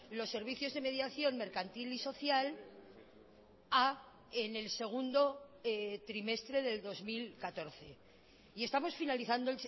los servicios de mediación mercantil y social a en el segundo trimestre del dos mil catorce y estamos finalizando